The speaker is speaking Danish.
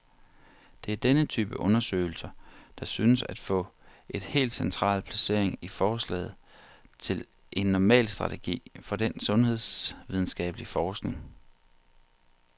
Det er denne type undersøgelser, der synes at få et helt central placering i forslaget til en normal strategi for den sundhedsvidenskabelig forskning.